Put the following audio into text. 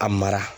A mara